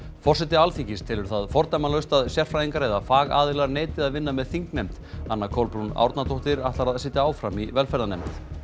forseti Alþingis telur það fordæmalaust að sérfræðingar eða fagaðilar neiti að vinna með þingnefnd anna Kolbrún Árnadóttir ætlar að sitja áfram í velferðarnefnd